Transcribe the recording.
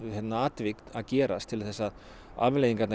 tilvik að gerast til þess að afleiðingarnar